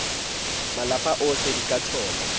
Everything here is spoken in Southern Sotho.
malapa ohle di ka tholwa